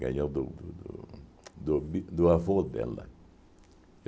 Ganhou do do do bi do avô dela.